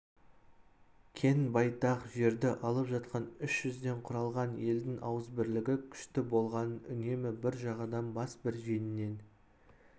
кең байтақ жерді алып жатқан үш жүзден құралған елдің ауызбірлігі күшті болғанын үнемі бір жағадан бас бір жеңнен